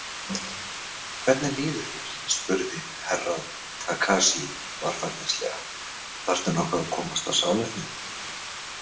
Hvernig líður þér spurði Herra Takashi varfærnislega, þarftu nokkuð að komast á salernið?